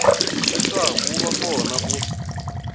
leswaku wu va kona ku